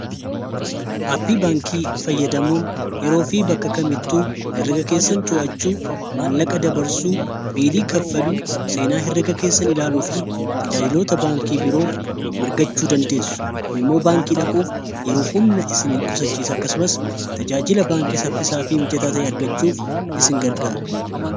appii baankii fayyadamuun yeroo fi bakka kamittuu heriga keessan too'achuu maallaqa dabarsuu biilii kaffaluu seenaa heriga keessan ilaaluu fi tajaajilota baankii biroo argachuu dandeessu kun immoo baankii dhaquuf yeroof humna isin qusachiis akkasumas tajaajila baankii saffisaafii mijataa ta'e argachuuf isin gargaara